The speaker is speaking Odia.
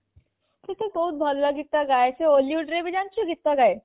ସେ ତ ବହୁତ ଭଲ ଗୀତ ଗାଏ ସେ hollywood ରେ ଜାଣିଛୁ ଗୀତ ଗାଏ